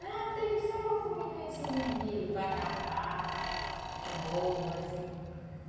Não, teve só comida, assim, de de vatapá, um bolo, assim.